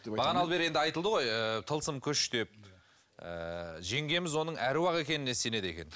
бағаналы бері енді айтылды ғой тылсым күш деп ыыы жеңгеміз оның аруақ екеніне сенеді екен